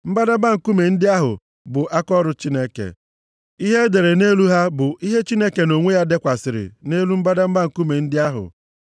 Mbadamba nkume ndị ahụ bụ akaọrụ Chineke, ihe e dere nʼelu ha bụ ihe Chineke nʼonwe ya dekwasịrị nʼelu mbadamba nkume ndị ahụ.